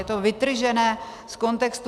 Je to vytržené z kontextu.